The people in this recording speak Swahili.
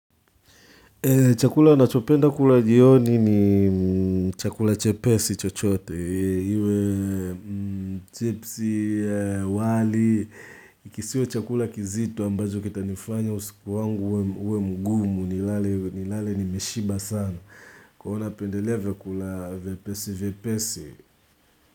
Chakula ninachopenda kula jioni ni chakula chepesi chochote iwe chipsi, wali, kisiwe chakula kizito ambacho kitanifanya usiku wangu uwe mgumu nilale nilale nimeshiba sana kwa hivyo napendelea vyakula viepesi viepesi.